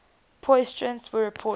positrons were reported